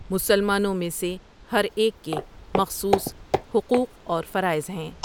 مسلمانوں میں سے ہر ایک کے مخصوص حقوق اور فرائض ہیں۔